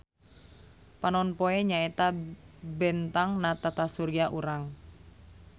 Panonpoe nyaeta bentang na tatasurya urang.